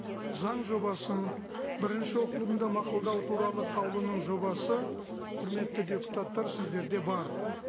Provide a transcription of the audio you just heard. заң жобасын бірінші оқылымда мақұлдау туралы қаулының жобасы құрметті депутаттар сіздерде бар